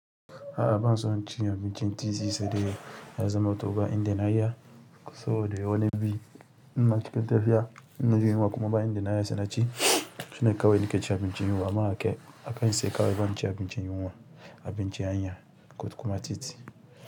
A'a banso inci abincin titi saidai ya zamanto ba yadda na iya. Soboda wani biyu, in na cikin tafiya in naji yunwa kuma ba inda na iya sai naci. Shine kawai nake cin abinci in yiwa amma akayi sai kawai banci abinci in yiwa, abinci hanya ko kuma titi.